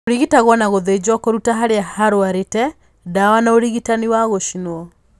Ũrigitagwo na gũthĩnjwo kũrũta harĩa harwarĩte, ndawa na ũrigitani wa gũcinwo.